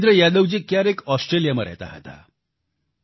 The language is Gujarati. વિરેન્દ્ર યાદવજી ક્યારેક ઓસ્ટ્રેલિયામાં રહેતા હતા